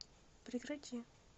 прекрати